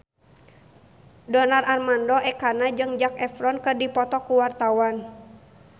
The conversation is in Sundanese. Donar Armando Ekana jeung Zac Efron keur dipoto ku wartawan